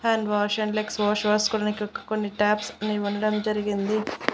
Hand wash and legs wash వాష్కోనికి కొన్ని taps అనేవి ఉండడం జరిగింది.